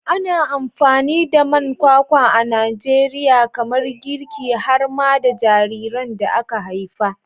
Ana amfani da man kwakwa a Najeriya kamar girki har ma da jariran da aka haifa.